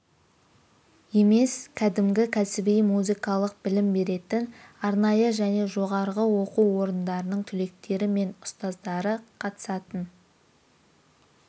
емес кәдімгі кәсіби музыкалық білім беретін арнайы және жоғары оқу орындарының түлектері мен ұстаздары қатысатын